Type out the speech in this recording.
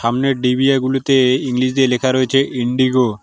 সামনের ডিভিয়াগুলিতে ইংলিশ দিয়ে লেখা রয়েছে ইন্ডিগো ।